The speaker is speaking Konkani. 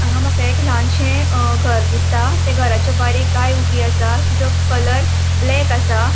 हांगा मका एक ल्हानशें अ घर दिसता त्या घराच्या भायर एक गाय ऊबी असा तिजो कलर ब्लैक आसा.